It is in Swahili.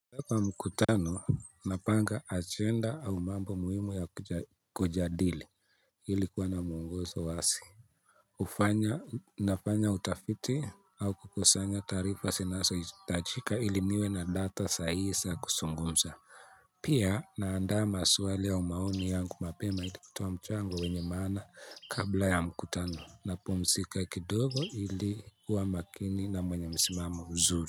Kwa mkutano napanga agenda au mambo muhimu ya kujadili ilikuwa na mwongozo wazi hufanya nafanya utafiti au kukusanya taarifa zinazo hitajika ili niwe na data saa hii za kuzungumza. Pia naanda maswali ya maoni yangu mapema ilikutoa mchango wenye maana, kabla ya mkutano na pumzika kidogo ili kuwa makini na mwenye msimamo mzuri.